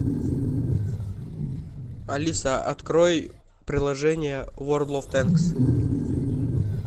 алиса открой приложение ворлд оф тэнкс